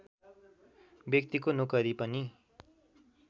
व्यक्तिको नोकरी पनि